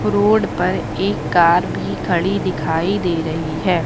Road पर एक car भी खड़ी दिखाई दे रही है।